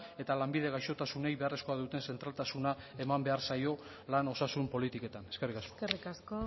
eta lanbide gaixotasunei beharrezkoa duten zentraltasuna eman behar zaio lan osasun politiketan eskerrik asko eskerrik asko